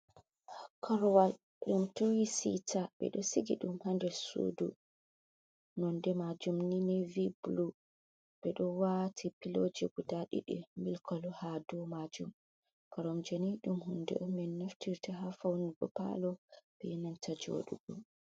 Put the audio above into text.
korwal, ɗum tuu siita ɓe do siigi ɗum hader Suudu nonde maajum ni nevii bulu ɓe do waati pilooji guda ɗiɗi milkolo ha dow maajum karomjeni ɗum. huude on min naftirta ha faunugo paalo, be nanta joɗugo.